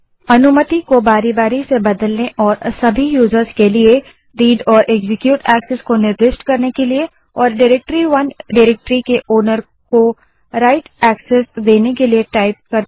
अनुमति को बारी बारी से बदलने और सभी यूजर्स के लिए read and एक्जीक्यूट एक्सेस को निर्दिष्ट करने के लिए और डाइरेक्टरी 1 डाइरेक्टरी के ओनर को write एक्सेस देने के लिए कमांड टाइप करें